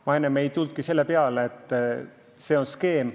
Ma enne ei tulnud üldse selle peale, et on säärane skeem.